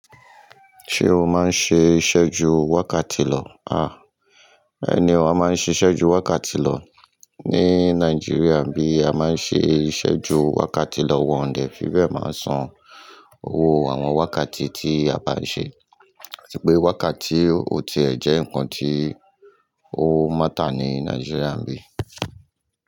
Ṣé o máa ń ṣe ìṣẹ́jú wákàtí lọ? Àá, bẹ́ẹ̀ni o a máa ń ṣe ìṣẹ́jú wákàtí lọ ní Nàìjíríà bí a máa ń ṣe ìṣẹ́jú wákàtí lọ wọ̀n dé. Fíbẹ́ẹ̀ máa ń san owó àwọn wákàtí tí a bá ń ṣe. Àti pé wákàtí o tì ẹ jẹ́ ǹkan tí ó máta ní Nàìjíríà bí.